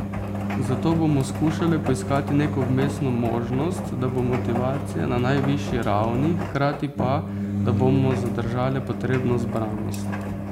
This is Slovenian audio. Zato bomo skušale poiskati neko vmesno možnost, da bo motivacija na najvišji ravni, hkrati pa, da bomo zadržale potrebno zbranost.